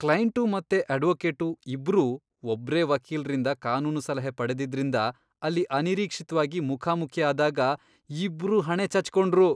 Client ಮತ್ತೆ advocate ಇಬ್ರೂ ಒಬ್ರೇ ವಕೀಲ್ರಿಂದ ಕಾನೂನು ಸಲಹೆ ಪಡೆದಿದ್ರಿಂದ ಅಲ್ಲಿ ಅನಿರೀಕ್ಷಿತ್ವಾಗಿ ಮುಖಾಮುಖಿ ಆದಾಗ ಇಬ್ರೂ ಹಣೆ ಚಚ್ಕೊಂಡ್ರು.